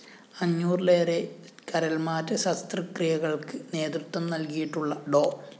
അഞ്ഞൂറിലേറെ കരള്‍മാറ്റ ശസ്ത്രക്രിയകള്‍ക്ക് നേതൃത്വം നല്‍കിയിട്ടുള്ള ഡോ